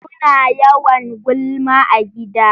Suna yawan gulma a gida.